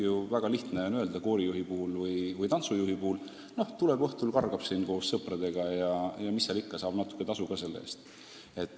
On väga lihtne öelda koorijuhi või tantsujuhi kohta: tuleb õhtul, laulab või kargab koos sõpradega ja mis seal ikka, saab natuke tasu ka selle eest.